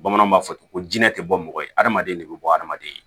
Bamananw b'a fɔ ten ko jinɛ te bɔ mɔgɔ ye hadamaden de be bɔ hadamaden